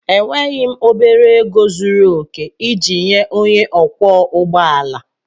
Enweghị m obere ego zuru oke iji nye onye ọkwọ ụgbọ ala.